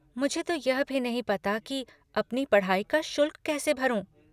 मुझे तो यह भी नहीं पता कि अपनी पढ़ाई का शुल्क कैसे भरूँ।